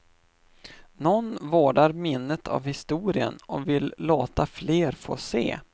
Nån vårdar minnet av historien och vill låta fler få se.